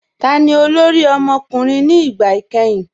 Táni olórí ọmọkùnrin ni ìgbà ikẹ̀hìn?